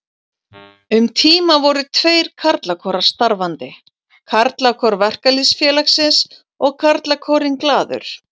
Um tíma voru tveir karlakórar starfandi, Karlakór Verkalýðsfélagsins og Karlakórinn Glaður.